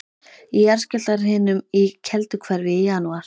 Í jarðskjálftahrinum í Kelduhverfi í janúar